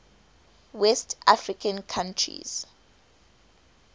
west african countries